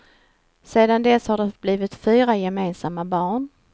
Sedan dess har det blivit fyra gemensamma barn.